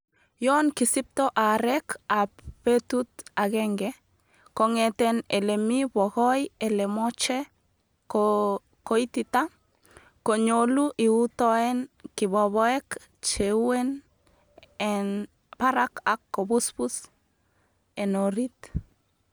Yon kisipto aarek ab betut agenge kongeten ele mii bokoi ele moche kooitita, konyolu iutoen kibobok che uen en barak ak kobusbus en oriit.